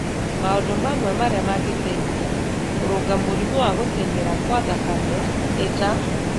Maũndũ mamwe marĩa mangĩteithia kũrũnga mũrimũ wa gũtenyera kwa thakame nĩ ta: